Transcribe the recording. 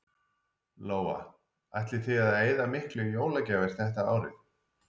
Lóa: Ætlið þið að eyða miklu í jólagjafir þetta árið?